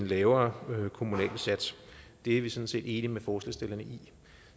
lavere kommunal sats det er vi sådan set enige med forslagsstillerne i